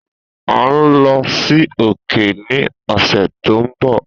A nlo si òkè ni ọsẹ to nbọ.